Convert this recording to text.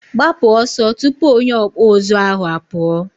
gbapu oso tupu onye ọkpụ ụzụ ahụ apuo!